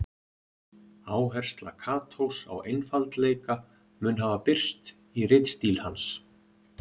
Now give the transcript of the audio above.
Áhersla Katós á einfaldleika mun hafa birst í ritstíl hans.